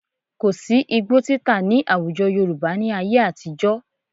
Kò sí́ igbó títà nih àwùjọ Yorùbá ní ayé àtijọ́